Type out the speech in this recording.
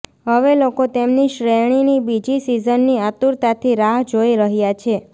હવે લોકો તેમની શ્રેણીની બીજી સીઝનની આતુરતાથી રાહ જોઈ રહ્યા છે